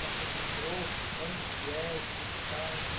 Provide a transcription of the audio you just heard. Quando você entrou, onde que é, o que você faz...